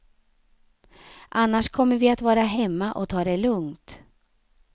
Annars kommer vi att vara hemma och ta det lugnt.